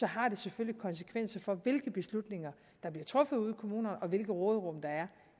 har det selvfølgelig konsekvenser for hvilke beslutninger der bliver truffet ude i kommunerne og hvilket råderum der er